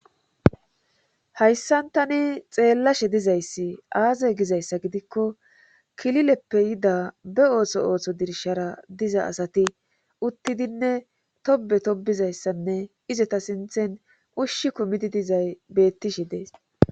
Hayssan tani xeellashe dizayssi aaze gizayssa gidikko kilileppe yida be ooso ooththo dirshara diza asati uttidinne tobe tobbizayssanne izeta sinthen ushshi kumidi dizay bettishe dees